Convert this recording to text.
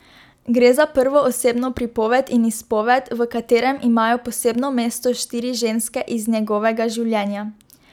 Gre za prvoosebno pripoved in izpoved, v katerem imajo posebno mesto štiri ženske iz njegovega življenja.